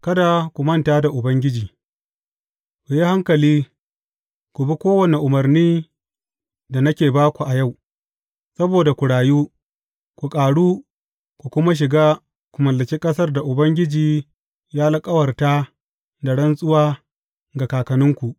Kada ku manta da Ubangiji Ku hankali, ku bi kowane umarnin da nake ba ku a yau, saboda ku rayu, ku ƙaru, ku kuma shiga, ku mallaki ƙasar da Ubangiji ya alkawarta da rantsuwa ga kakanninku.